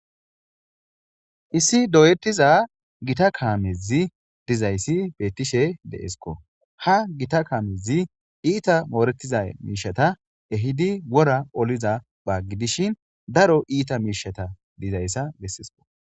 Issi doyetiza gita kaamezi dizayssi beettishe deesko ha gita kaamezi iita mooretiza miishata ehidi wora oliza baaggidishin daro iita miishata dizayssa bessisko.